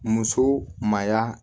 Muso maya